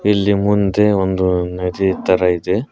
ಇಲ್ಲಿ ಮುಂದೆ ಒಂದು ನದಿ ತರ ಇದೆ.